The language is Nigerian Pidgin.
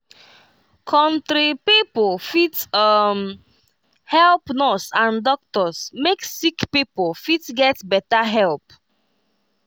country pipo fit um help nurse and doctors make sick pipo fit get better help.